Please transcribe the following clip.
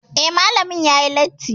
Eh, Malamin yayi latti